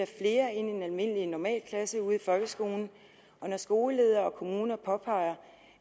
flere ind i en almindelig normalklasse ude i folkeskolen og når skoleledere og kommuner påpeger